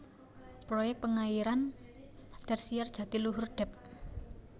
Proyek Pengairan Tersier Jatiluhur Dep